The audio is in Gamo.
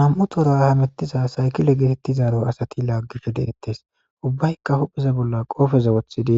nam7u toora hamettiza saykile geetettizaro asati laaggish deettes ubbaykka hupheze bolla qoofeza woththidi